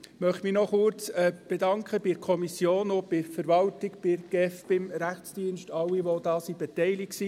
Ich möchte mich noch kurz bei der Kommission uns der Verwaltung bedanken, bei der GEF, beim Rechtsdienst, bei allen, die daran beteiligt waren.